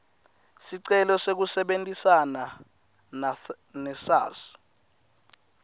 sicelo sekusebentisana nesars